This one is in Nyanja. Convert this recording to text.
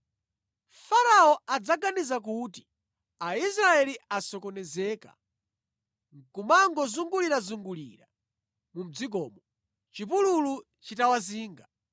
Farao adzaganiza kuti ‘Aisraeli asokonezeka nʼkumangozungulirazungulira mu dzikomo, chipululu chitawazinga.’